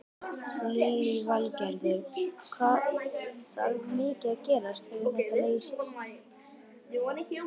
Lillý Valgerður: Þarf mikið að gerast til að þetta leysist?